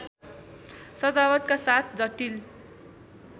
सजावटका साथ जटिल